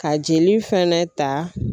Ka jeli fɛnɛ ta